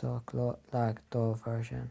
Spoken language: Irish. sách lag dá bharr sin